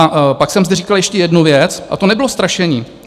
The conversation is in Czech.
A pak jsem zde říkal ještě jednu věc a to nebylo strašení.